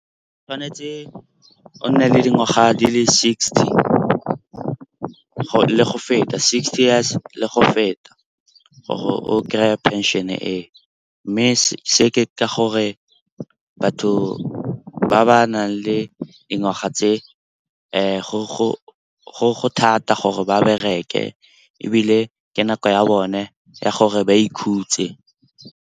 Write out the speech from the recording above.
Tshwanetse o nne le dingwaga di le sixty le go feta, sixty years le go feta gore o kry-e phenšene e. Mme se ke ka gore batho ba ba nang le dingwaga tse go thata gore ba bereke ebile ke nako ya bone ya gore ba ikhutse.